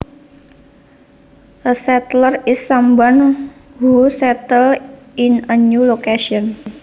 A settler is someone who settles in a new location